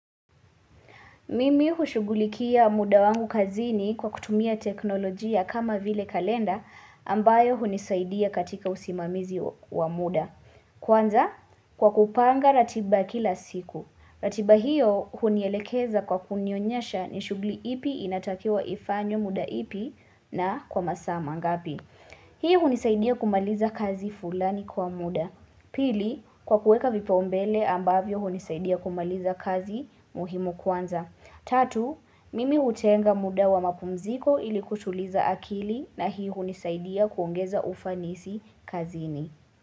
Mimi hushugulikia muda wangu kazini kwa kutumia teknolojia kama vile kalenda ambayo hunisaidia katika usimamizi wa muda. Kwanza, kwa kupanga ratiba kila siku. Ratiba hiyo hunielekeza kwa kunionyesha ni shuguli ipi inatakiwa ifanywe muda ipi na kwa masaa mangapi. Hii hunisaidia kumaliza kazi fulani kwa muda. Pili, kwa kuweka vipaumbele ambavyo hunisaidia kumaliza kazi muhimu kwanza. Tatu, mimi utenga muda wa mapumziko ili kutuliza akili na hii hunisaidia kuongeza ufanisi kazini.